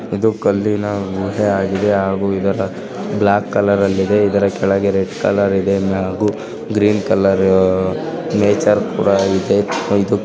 ಇದು ಕಲ್ಲಿನ ಕೋಟೆಯಾಗಿದೆ ಹಾಗೂ ಇದರ ಬ್ಲಾಕ್ ಕಲರ್ ಅಲ್ಲಿದೆ. ಇದರ ಕೆಳಗೆ ರೆಡ್ ಕಲರ್ ಇದೆ ಇನ್ನ ಹಾಗೂ ಗ್ರೀನ್ ಕಲರ್ ನೇಚರ್ ಕೂಡ ಇದೆ. ಇದು--